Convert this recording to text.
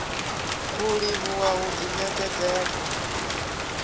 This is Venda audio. u livhuwa u ḓi ṋekedzela